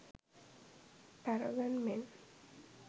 paragon men